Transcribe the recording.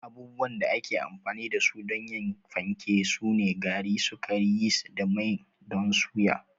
Abubuwan da ake amfani da su don yin fanke sune gari, sukari, yist da mai don suya.